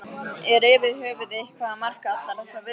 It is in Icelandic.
Er yfir höfuð eitthvað að marka allar þessar veðurspár?